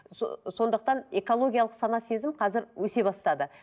сондықтан экологиялық сана сезім қазір өсе бастады